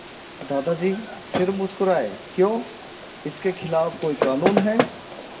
दादाजी फिर मुस्कराए क्यों इसके खिलाफ़ कोई कानून है